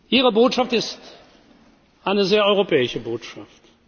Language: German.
allein. Ihre Botschaft ist eine sehr europäische Botschaft.